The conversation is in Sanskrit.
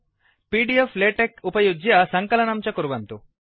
पीडीफ्लेटेक्स उपयुज्य सङ्कलनं च कुर्वन्तु